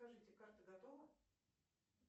скажите карта готова